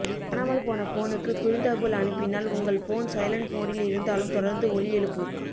காணாமல் போன போனுக்கு குறுந்தகவல் அனுப்பினால் உங்க போன் சைலன்ட் மோடில் இருந்தாலும் தொடர்ந்து ஒலி எழுப்பும்